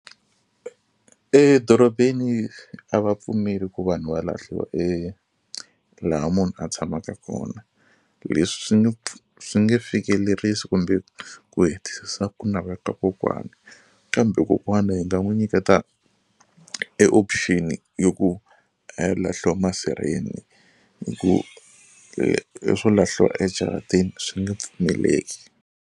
Edorobeni a va pfumeli ku vanhu va lahliwa e laha munhu a tshamaka kona leswi swi nge swi nge fikelerisi kumbe ku hetisisa ku navela ka kokwani kambe kokwani hi nga n'wu nyiketa e option yo ku a ya lahliwa masirheni hi ku leswo lahliwa ejaratini swi nge pfumeleki.